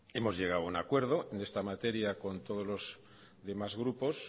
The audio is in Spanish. hemos llegado a un acuerdo en esta materia con todos los demás grupos